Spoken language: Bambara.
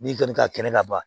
N'i kɔni ka kɛnɛ ka ban